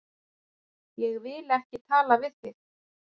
Ég vil ekki tala við þig.